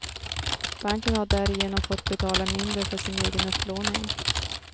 Banken har därigenom fått betala mindre för sin egen upplåning.